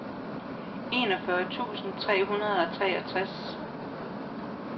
enogfyrre tusind tre hundrede og treogtres